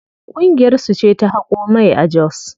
Ƙungiyar su ce ta haƙo mai a jos.